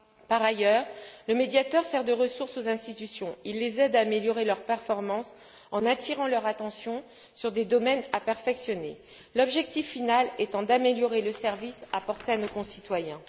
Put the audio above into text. Par ailleurs, le médiateur sert de ressource aux institutions. Il les aide à améliorer leurs performances en attirant leur attention sur des domaines à perfectionner, l'objectif final étant d'améliorer le service à apporter à nos concitoyens.